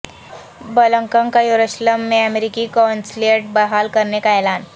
Blinken کا یروشلم میں امریکی قونصلیٹ بحال کرنے کا اعلان